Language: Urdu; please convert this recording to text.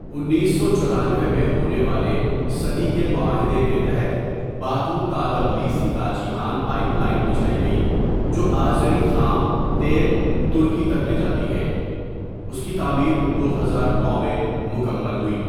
انیس سو چورانوے میں ہونے والے صدی کے معاہدے کے تحت باکو تا تبلیسی تا جیحان پائپ لائن بچھائی گئی جو آذری خام تیل ترکی تک لے جاتی ہے اس کی تعمیر دو ہزار نو میں مکمل ہوئی.